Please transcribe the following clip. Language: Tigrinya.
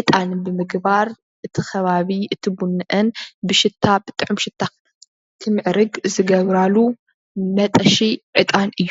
ዕጣን ብምግባር እቲ ከባቢ እቲ ቡነአን ብሽታ ብጥዑም ሽታ ክምዕርግ ዝገብራሉ መጠሺ ዕጣን እዩ።